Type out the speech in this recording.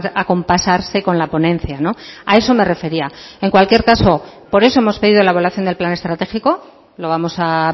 acompasarse con la ponencia a eso me refería en cualquier caso por eso hemos pedido la evaluación del plan estratégico lo vamos a